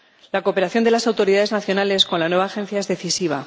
La cooperación de las autoridades nacionales con la nueva agencia es decisiva.